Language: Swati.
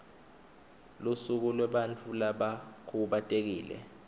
lusuku lwebantfu labakhubatekile